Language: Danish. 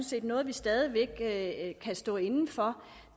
set noget vi stadig væk kan stå inde for